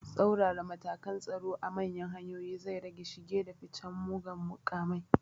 Tsaurara matakan tsaro a manyan hanyoyi zai rage shige da ficen mugan makamai